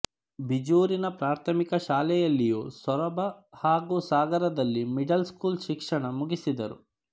ಬಿಜೂರಿನ ಪ್ರಾಥಮಿಕ ಶಾಲೆಯಲ್ಲಿಯೂ ಸೊರಬ ಹಾಗೂ ಸಾಗರದಲ್ಲಿ ಮಿಡಲ್ ಸ್ಕೂಲ್ ಶಿಕ್ಷಣ ಮುಗಿಸಿದರು